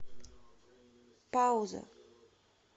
пауза